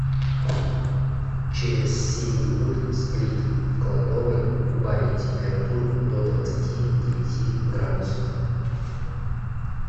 через семь минут сплит в кладовой убавить температуру до двадцати девяти градусов